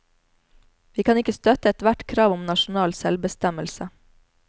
Vi kan ikke støtte ethvert krav om nasjonal selvbestemmelse.